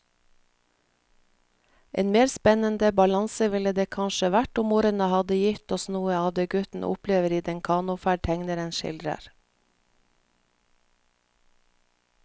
En mer spennende balanse ville det kanskje vært om ordene hadde gitt oss noe av det gutten opplever i den kanoferd tegneren skildrer.